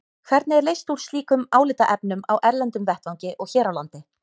Hvernig er leyst úr slíkum álitaefnum á erlendum vettvangi og hér á landi?